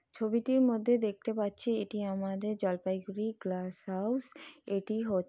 ছবিটির মধ্যে দেখতে পাচ্ছি এটি আমাদের জলপাইগুড়ি গ্লাস হাউস । এটি হচ--